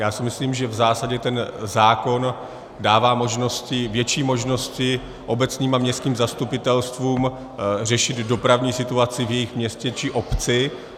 Já si myslím, že v zásadě ten zákon dává možnosti, větší možnosti obecním a městským zastupitelstvům řešit dopravní situaci v jejich městě či obci.